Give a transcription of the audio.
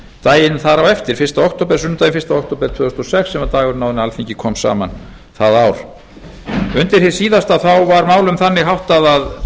daginn þar á eftir sunnudaginn fyrsta október tvö þúsund og sex sem var dagurinn áður en alþingi kom saman það ár undir það síðasta var málum þannig háttað að